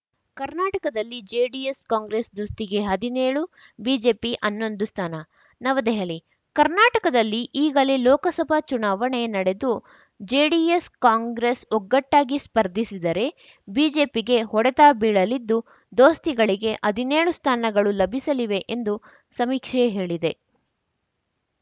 ಕರ್ನಾಟಕದಲ್ಲಿ ಜೆಡಿಎಸ್‌ಕಾಂಗ್ರೆಸ್‌ ದೋಸ್ತಿಗೆ ಹದಿನೇಳು ಬಿಜೆಪಿ ಹನ್ನೊಂದು ಸ್ಥಾನ ನವದೆಹಲಿ ಕರ್ನಾಟಕದಲ್ಲಿ ಈಗಲೇ ಲೋಕಸಭೆ ಚುನಾವಣೆ ನಡೆದು ಜೆಡಿಎಸ್‌ಕಾಂಗ್ರೆಸ್‌ ಒಗ್ಗಟ್ಟಾಗಿ ಸ್ಪರ್ಧಿಸಿದರೆ ಬಿಜೆಪಿಗೆ ಹೊಡೆತ ಬೀಳಲಿದ್ದು ದೋಸ್ತಿಗಳಿಗೆ ಹದಿನೇಳು ಸ್ಥಾನಗಳು ಲಭಿಸಲಿವೆ ಎಂದು ಸಮೀಕ್ಷೆ ಹೇಳಿದೆ